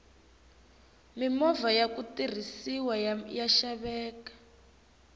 mimovha yaku tirhisiwa ya xaveka